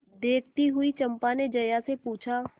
देखती हुई चंपा ने जया से पूछा